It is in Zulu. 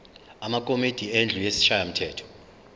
amakomidi endlu yesishayamthetho